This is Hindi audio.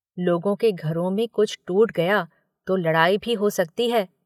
लोगों के घरों में कुछ टूट गया तो लड़ाई भी हो सकती है।